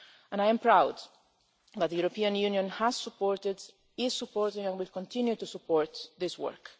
I am proud that the European Union has supported, is supporting and will continue to support this work.